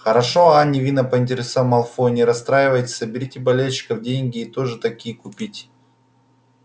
хороши а невинно поинтересовался малфой не расстраивайтесь соберите с болельщиков деньги и тоже такие купите